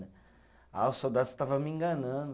Ah, o soldado estava me enganando.